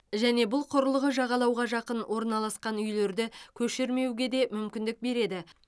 және бұл құрылғы жағалауға жақын орналасқан үйлерді көшірмеуге де мүмкіндік береді